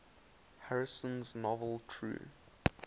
harrison's novel true